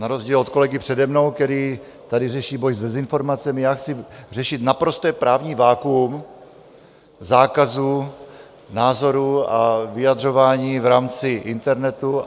Na rozdíl od kolegy přede mnou, který tady řeší boj s dezinformacemi, já chci řešit naprosté právní vakuum zákazu názoru a vyjadřování v rámci internetu.